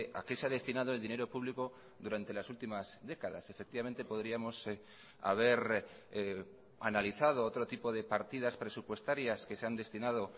a qué se ha destinado el dinero público durante las últimas décadas efectivamente podríamos haber analizado otro tipo de partidas presupuestarias que se han destinado